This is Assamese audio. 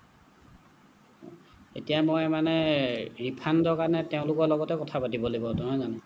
এতিয়া মই মানে refund ৰ কাৰণে তেওলোকৰ লগতে কথা পাতিব লাগিব নহয় জানো